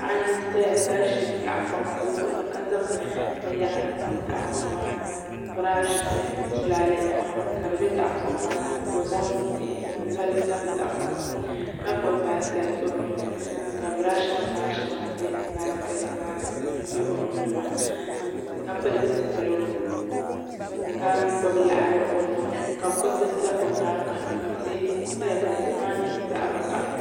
Paɣa n zaya ka I tahipɔŋ o zuɣu ni ka zaŋ biniyara n niŋ tahipɔŋ maa ni brashi ni tulaale nima ka di bɛ tahipɔŋ maa ni ka o zaŋ mihi n loli tabili tahipɔŋ maa ka gbubi baaiketi o nuuni ka brashi nim maa shɛŋa bɛ baaiketi maa ni dini bɛ o nuu ni maa ka pili zupiligu ka gbubi liɣiri o nuu ni ka kuriti sa o yɛanga ka tihi saya ka tihi maa yɛ zaɣi vakahali.